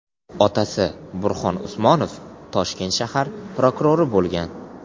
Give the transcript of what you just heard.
Otasi Burxon Usmonov Toshkent shahar prokurori bo‘lgan.